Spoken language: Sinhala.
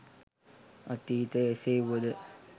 අතීතය එසේ වුවද